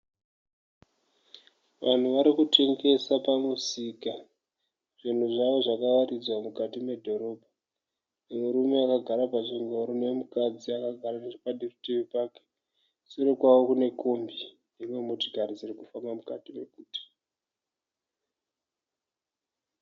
Vanhu vari kutengesa pamusika. Zvinhu zvavo zvakawaridzwa mukati medhorobha. Murume akagara pachingoro nomukadzi akagara necheparutivi pake. Sure kwavo kune kombi nedzimwe motokari dziri kufamba mukati merodhi.